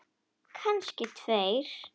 Kannski tveir.